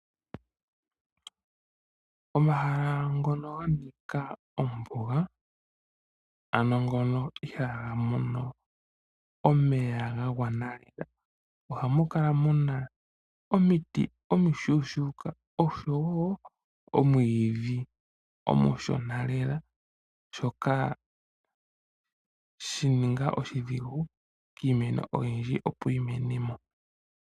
Omahala ngono ganika ombuga ano ngono ihaaga mono omuloka gwagwana , ohamu kala muna omiti omishuushuuka, omwiidhi omushonalela, shika ohashi ningile oshidhigu kiimeno oyindji yimenemo.